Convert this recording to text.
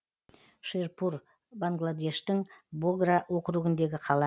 шерпур бангладештің богра округіндегі қала